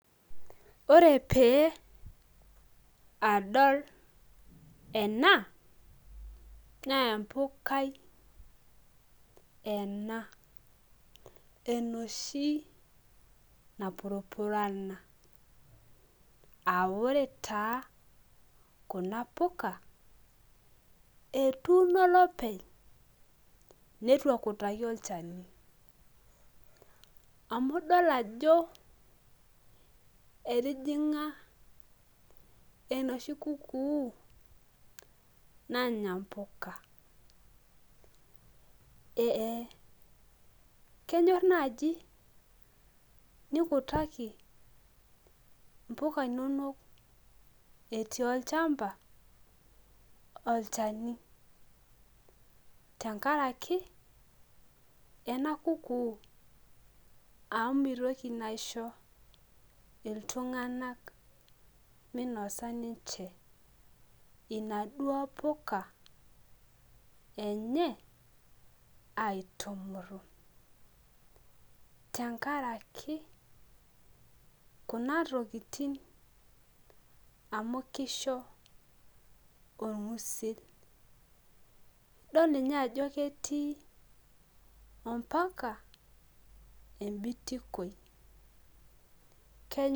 Ore pee adol ena naa empukai ena enoshi napurupurana aa ore taa kuna puka etuuno olopeny nitu ekutaki olchani amu idol ajo etijinga enoshibkukuu nanya mpuka kenyor nai nikutaki mpuka inonok etii olchamba olchani tenkaraki mitoki aisho ltunganak minosa ninche inaduo puka enye aitumuru tenkaraki kuna tokitin amu kisho orngusil idol ninye ajo ketii ambaka embitikoi keny.